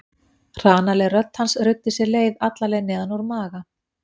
Hranaleg rödd hans ruddi sér leið alla leið neðan úr maga